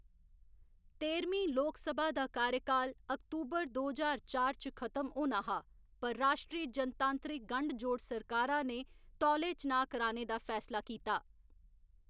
तेह्‌रमीं लोकसभा दा कार्यकाल अक्तूबर दो ज्हार चार च खत्म होना हा, पर राश्ट्री जनतांत्रिक गंढ जोड़ सरकारा ने तौले चनाऽ कराने दा फैसला कीता।